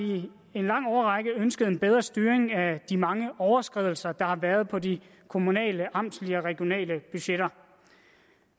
en lang årrække ønsket en bedre styring af de mange overskridelser der har været på de kommunale amtslige og regionale budgetter